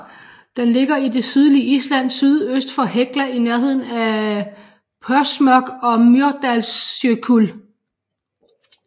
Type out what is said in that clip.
Den ligger i det sydlige Island syd øst for Hekla i nærneden af Þórsmörk og Mýrdalsjökull